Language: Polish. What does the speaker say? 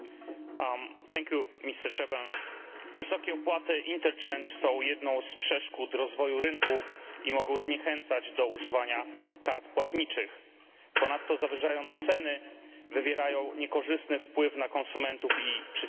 Panie Przewodniczący! Wysokie opłaty są jedną z przeszkód rozwoju rynku i mogą zniechęcać do używania kart płatniczych. Ponadto, zawyżając ceny, wywierają niekorzystny wpływ na konsumentów i przedsiębiorców.